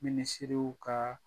Minisiriw kaa